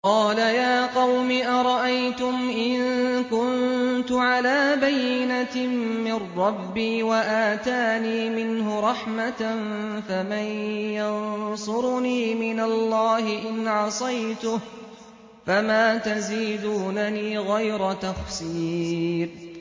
قَالَ يَا قَوْمِ أَرَأَيْتُمْ إِن كُنتُ عَلَىٰ بَيِّنَةٍ مِّن رَّبِّي وَآتَانِي مِنْهُ رَحْمَةً فَمَن يَنصُرُنِي مِنَ اللَّهِ إِنْ عَصَيْتُهُ ۖ فَمَا تَزِيدُونَنِي غَيْرَ تَخْسِيرٍ